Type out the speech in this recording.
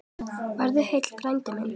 Farðu heill, frændi minn.